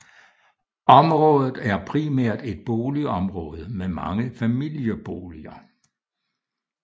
Området er primært et boligområde med mange familieboliger